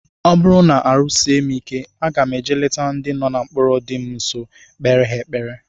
Ọ bụrụ na ahụ sie m ike, aga eje leta ndị nọ na mkpọrọ dị m nsọ, kpere ha ekpere